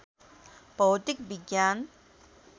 भौतिक विज्ञान